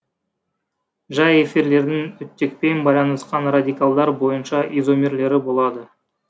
жай эфирлердің оттекпен байланысқан радикалдар бойынша изомерлері болады